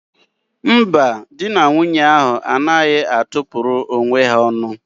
Mba, dị na nwunye ahụ anaghị atụ pụrụ onwe ha ọnụ.